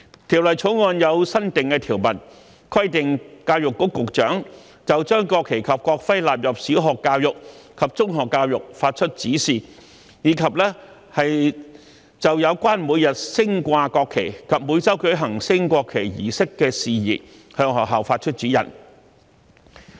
《條例草案》有新訂條文，規定教育局局長就將國旗及國徽納入小學教育及中學教育發出指示，以及就有關每日升掛國旗及每周舉行升國旗儀式的事宜向學校發出指示。